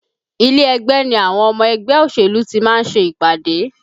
Ilé ẹgbẹ́ ni àwọn ọmọ ẹgbẹ́ òṣèlú tí ma ń ṣe ìpàdé